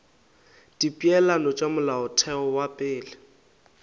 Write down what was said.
dipeelano tša molaotheo wa pele